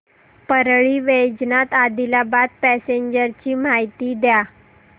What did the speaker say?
Parli Vaijnath Adilabad passenger ची माहिती द्या